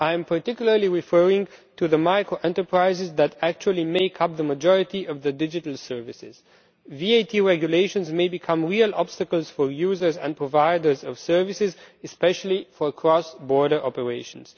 I am particularly referring to the micro-enterprises that actually make up the majority of the digital services. VAT regulations may become real obstacles for users and providers of services, especially for cross border operations.